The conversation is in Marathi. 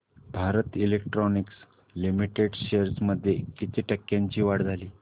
भारत इलेक्ट्रॉनिक्स लिमिटेड शेअर्स मध्ये किती टक्क्यांची वाढ झाली